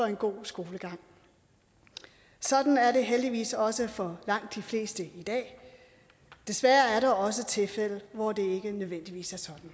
en god skolegang sådan er det heldigvis også for langt de fleste i dag desværre er der også tilfælde hvor det ikke nødvendigvis